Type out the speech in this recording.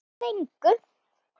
Lofar engu.